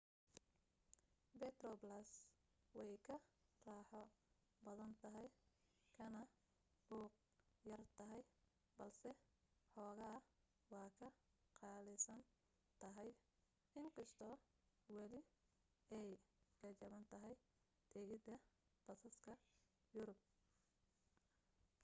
metroplus way ka raaxo badan tahay kana buuq yar tahay balse xoogaa waa ka qaalisan tahay in kastoo weli ay ka jaban tahay tigidhada basaska yurub